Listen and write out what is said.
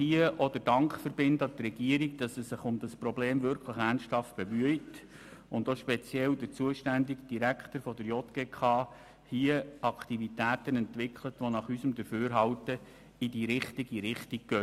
Wir sollten der Regierung danken, dass sie sich ernsthaft um eine Lösung des Problems bemüht und speziell der zuständige JGK-Direktor Aktivitäten entwickelt, die nach unserem Dafürhalten in die richtige Richtung gehen.